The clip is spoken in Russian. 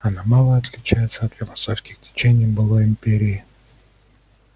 она мало отличается от философских течений былой империи